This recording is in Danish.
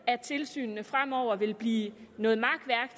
at tilsynene fremover vil blive noget makværk